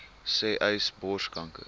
sê uys borskanker